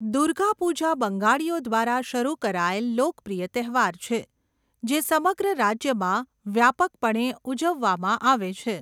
દુર્ગા પૂજા બંગાળીઓ દ્વારા શરૂ કરાયેલ લોકપ્રિય તહેવાર છે જે સમગ્ર રાજ્યમાં વ્યાપકપણે ઉજવવામાં આવે છે.